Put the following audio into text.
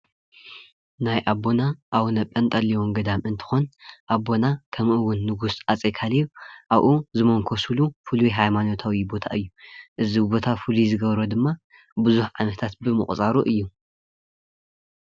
ናይ ኣቦና ኣውኖ ጰንጠሌን ገዳም እንትኮን አቦና ከምኡ እውን ንጉስ ሃፀይ ካሊብ ኣብኡ ዝሞንኮስሉ ፉሉይ ሃይማኖታዊ ቦታ እዩ፡፡ እዚ ቦታ ፍሉይ ዝገብሮ ድማ ብዙሕ ዓመታት ብምቁፃሩ እዩ፡፡